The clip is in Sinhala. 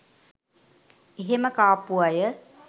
එහෙම කාපු අය